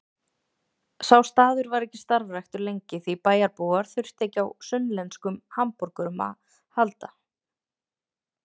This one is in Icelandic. Sá staður var ekki starfræktur lengi því bæjarbúar þurftu ekki á sunnlenskum hamborgurum að halda.